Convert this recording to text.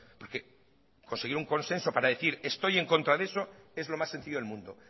porque conseguir un consenso para decir estoy en contra de eso es lo más sencillo del mundo